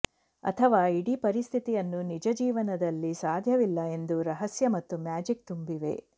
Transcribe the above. ಅಥವಾ ಇಡೀ ಪರಿಸ್ಥಿತಿಯನ್ನು ನಿಜ ಜೀವನದಲ್ಲಿ ಸಾಧ್ಯವಿಲ್ಲ ಎಂದು ರಹಸ್ಯ ಮತ್ತು ಮ್ಯಾಜಿಕ್ ತುಂಬಿವೆ